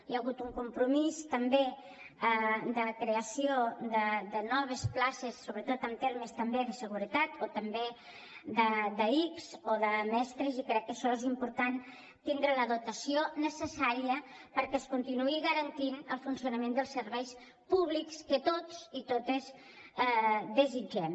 hi ha hagut un compromís també de creació de noves places sobretot en termes també de seguretat o també d’ics o de mestres i crec que això és important tindre la dotació necessària perquè es continuï garantint el funcionament dels serveis públics que tots i totes desitgem